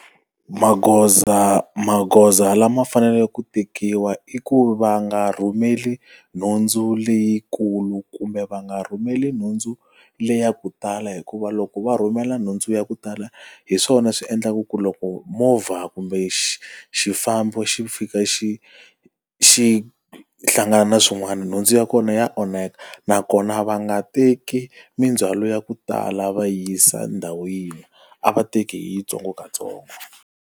Magoza magoza lama faneleke ku tekiwa i ku va nga rhumeli nhundzu leyikulu kumbe va nga rhumeli nhundzu leyi ya ku tala hikuva loko va rhumela nhundzu ya ku tala, hi swona swi endlaku ku loko movha kumbe xifambo xi fika xi xi hlangane na swin'wana nhundzu ya kona ya onhaka. Nakona va nga teki mindzhwalo ya ku tala va yi yisa ndhawu yin'we, a va teki hi yitsongo katsongo.